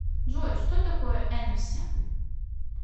джой что такое энэфси